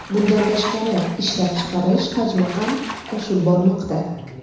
Bundan tashqari, ishlab chiqarish hajmi ham oshib bormoqda.